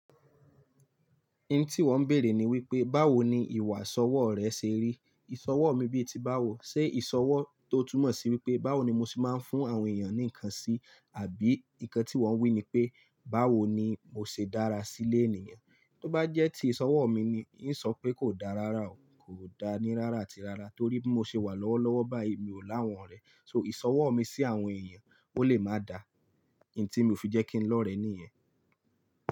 Ní tí ìwọ ń bèèrè ni wípé, báwo ni ìwà ìsọwọ́ rẹ ṣe rí? Ìsọwọ́ mi bíi ti báwo, ṣe ìsọwọ́ tó túmọ̀ sí wípé, báwo ni mo ṣe máa ń fún àwọn èèyàn ní ǹkan sí, àbí ikan tí ìwò ń wí ni pé, báwo ni mo ṣe dára sí lé ènìyàn. Tó bá jẹ́ tí ìsọwọ́ mi ni, ìsọ ń pé kò dá rárá o, kò dá ni rárá àti rárá, torí bí mo ṣe wà lọ́wọ́lọ́wọ́ báyìí mi ò láwọn rẹ̀. So ìsọwọ́ mi sí àwọn èèyàn, ó lè máa da, ìun tí mi ò fi jẹ́ kí n lọ̀rẹ́ níyen.